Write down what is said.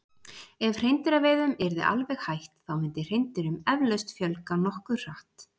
Ef hreindýraveiðum yrði alveg hætt þá myndi hreindýrum eflaust fjölga nokkuð hratt.